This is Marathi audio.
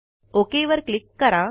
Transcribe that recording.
ओक वर क्लिक करा